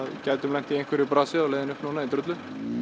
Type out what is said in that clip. gætum lent í einhverju brasi á leiðinni upp núna í drullu